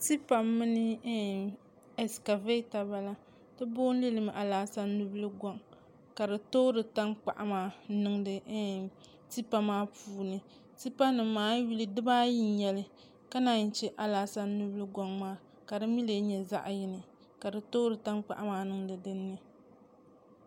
Tipa mini ɛskavɛta n bala ti booni limi alaasan nubili goŋ ka di toori tankpaɣu maa n niŋdi tipa maa puuni tipa nim maa a yi yuli dibaayi n nyɛli ka naan chɛ alaasan nubili goŋ maa ka di mii lee nyɛ zaɣ yini ka di toori tankpaɣu maa niŋdi dinni